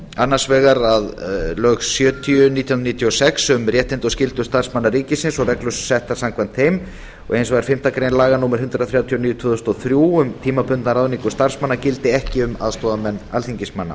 annars vegar að lög sjötíu nítján hundruð níutíu og sex um réttindi og skyldur starfsmanna ríkisins og reglur settar samkvæmt þeim og hins vegar fimmtu grein laga númer hundrað þrjátíu og níu tvö þúsund og þrjú um tímabundna ráðningu starfsmanna gildi ekki um aðstoðarmenn alþingismanna